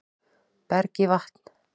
Berg í vatn